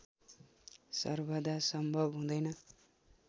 सर्वदा सम्भव हुँदैन